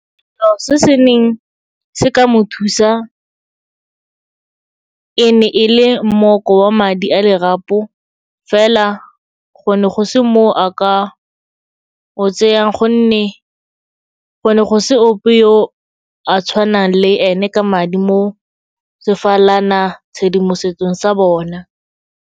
Selo se se neng se ka mo thusa e ne e le mmoko wa madi a lerapo, fela go ne go se moo a ka o tsayang gonne go ne go se ope yo a tshwanang le ene ka madi mo sefalanatshedimosetsong sa bona.